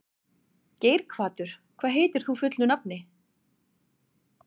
Geirhvatur, hvað heitir þú fullu nafni?